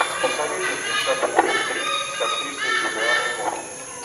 посоветуй мне шаг вперед три с актрисой джулианой мур